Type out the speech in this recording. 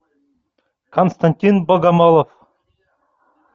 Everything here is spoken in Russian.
константин богомолов